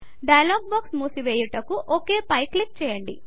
dialog box మూసివేయుటకు OK పై click చేయండి